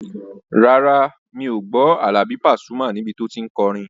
Rárá, mi ò gbọ́ Àlàbí Pasuma níbi tí o tí n kọrin